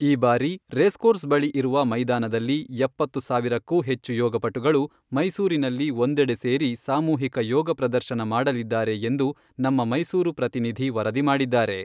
ಈ ಬಾರಿ ರೇಸ್ಕೋರ್ಸ್ ಬಳಿ ಇರುವ ಮೈದಾನದಲ್ಲಿ ಎಪ್ಪತ್ತು ಸಾವಿರಕ್ಕೂ ಹೆಚ್ಚು ಯೋಗಪಟುಗಳು ಮೈಸೂರಿನಲ್ಲಿ ಒಂದೆಡೆ ಸೇರಿ ಸಾಮೂಹಿಕ ಯೋಗ ಪ್ರದರ್ಶನ ಮಾಡಲಿದ್ದಾರೆ ಎಂದು ನಮ್ಮ ಮೈಸೂರು ಪ್ರತಿನಿಧಿ ವರದಿ ಮಾಡಿದ್ದಾರೆ.